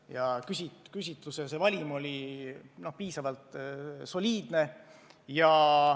Ja küsitluse valim oli piisavalt soliidne.